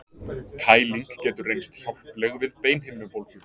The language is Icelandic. Kæling getur reynst hjálpleg við beinhimnubólgu.